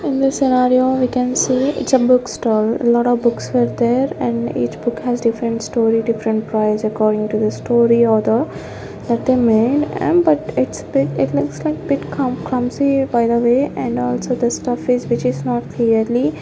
in this scenario we can see its a book stall lot of books were there and each book has different story different price according to the story of the for the name and but it's bit it looks like bit com clumsy by the way and also just of which which is not clearly --